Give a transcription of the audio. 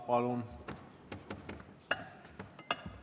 Palun!